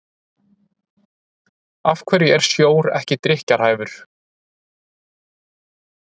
af hverju er sjór ekki drykkjarhæfur